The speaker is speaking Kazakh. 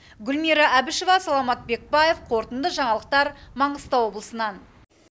гүлмира әбішева саламат бекбаев қорытынды жаңалықтар маңғыстау облысынан